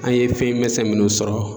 An ye fɛn mɛsɛn minnu sɔrɔ